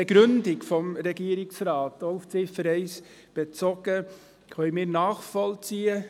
Die Begründung des Regierungsrats – ebenfalls auf Ziffer 1 bezogen – können wir nachvollziehen.